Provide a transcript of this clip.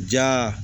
Ja